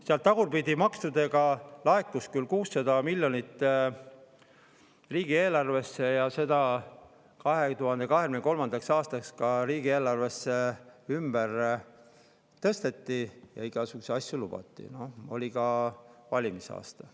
Sealt laekus küll maksudena 600 miljonit riigieelarvesse, mida 2023. aastaks ka riigieelarves ümber tõsteti ja igasuguseid asju lubati, oli ju ka valimiste aasta.